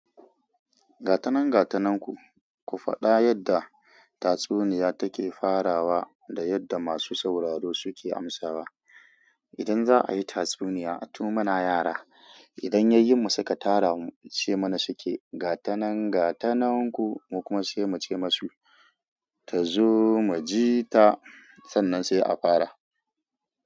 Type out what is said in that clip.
Gata nan gata nanku, ku faɗa yadda tatsuniya take farawa da yadda masu sauraro suke amsawa. Idan za'a yi tatsuniya, a tu muna yara. Idan yayyin mu suka tara mu ce mana suke, gata nan gata nanku mu kuma se muce masu, tazo mu ji ta. Sannan sai a fara.